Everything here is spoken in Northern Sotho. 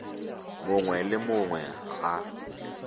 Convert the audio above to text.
mongwe le yo mongwe ga